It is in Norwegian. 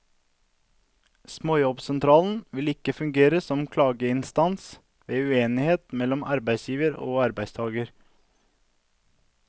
Småjobbsentralen vil ikke fungere som klageinstans ved uenighet mellom arbeidsgiver og arbeidstaker.